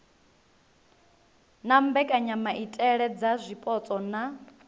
na mbekanyamaitele dza zwipotso na